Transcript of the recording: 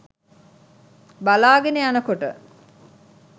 බලාගෙන යනකොට